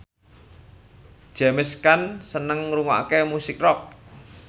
James Caan seneng ngrungokne musik rock